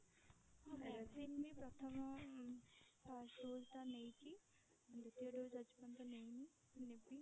ହଁ vaccine ବି ପ୍ରଥମ first dose ତ ନେଇଛି ଦୁତୀୟ dose ଟା ଆଜି ପର୍ଯ୍ୟନ୍ତ ନେଇନି ନେବି।